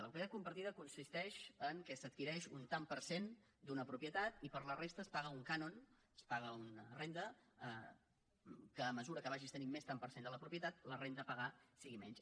la propietat compartida consisteix que s’adquireix un tant per cent d’una propietat i per la resta es paga un cànon es paga una renda que a mesura que vagis tenint més tant per cent de la propietat la renda a pagar sigui menys